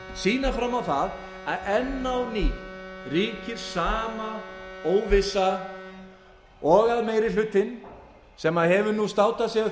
sýna fram á það að enn á ný ríkir sama óvissa og að meiri hlutinn sem hefur nú státað sig af